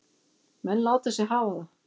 Menn láta sig hafa það.